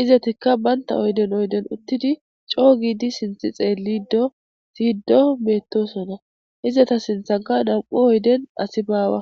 izetikka baynta oyden oyden uttidi coo gidi sinthi xeellido siyddo meettosona izeta sinthanka nam7u oyden asi baawa